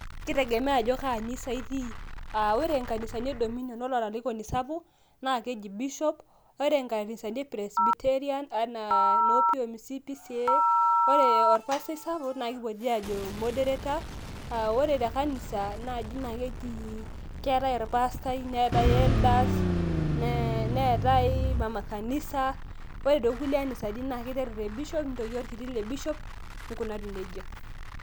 kitegemea ajo kaa anisa itii, ore nkanisani e dominion, naa keji bishop. ore nkanisani e Presbyterian anaa noo pomc, pcea. ore orpastai saapuk naa kipoti aajo moderator, ore te kanisa naaji naaa keji keetae olpastai, neetae mama kanisa, ore too kulie anisani naa keetae orbishop, neetae orkiti le bishop.